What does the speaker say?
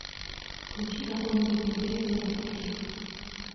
включи какой нибудь интересный детектив